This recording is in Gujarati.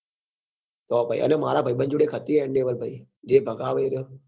તો પહી મારા ભાઈબંધ જોડે એક હતી endeavour જે ભગાવે એ રહ્યો